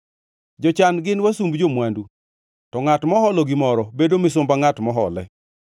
Jochan gin wasumb jo-mwandu, to ngʼat moholo gimoro bedo misumba ngʼat mohole.